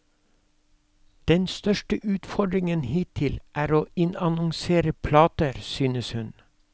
Den største utfordringen hittil er å innannonsere plater, synes hun.